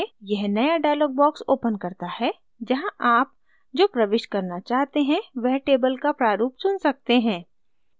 यह नया dialog box opens करता है जहाँ आप जो प्रविष्ट करना चाहते हैं वह table का प्रारूप चुन सकते हैं